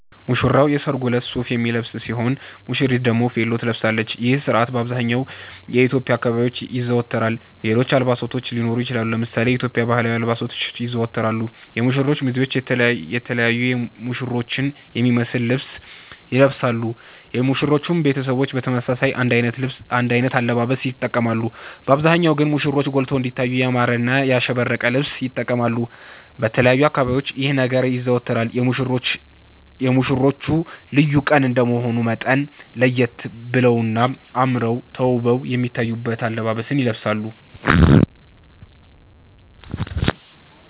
ሙሽራዉ የሰርጉ እለት ሱፍ የሚለብስ ሲሆን ሙሽሪት ደግሞ ቬሎ ትለብሳለች ይህ ስርአት በአብዘሃኛዉ የኢትዮዽያ አካባቢዎች ይዘወተራል ሌሎች አልባሳቶች ሊኖሩ ይችላሉ። ለምሳሌ የኢትዮዽያ ባህላዊ አልባሳቶች ይዘወተራሉ የሙሽሮቹ ሚዜዎች የተለያዩ ሙሽሮቹን የሚመሰል ልብስ ይለብሳሉ የሙሽሮቹም ቤተሰቦች በተመሳሳይ አንድ አይነት አለባበስ ይተቀማሉ በአብዛሃኛዉ ግን ሙሽሮቹ ጎልተዉ እንዲታዩ ያማረና ያሸበረቀ ልብስ ይተቀማሉ። በተለያዩ አካባቢዎች ይህ ነገር ይዘወተራል የሙሽሮቹ ልዩ ቀን እንደመሆኑ መጠን ለየት በለዉና አመረዉ ተዉበዉ የሚታዩበትን አለባበስ ይለብሳሉ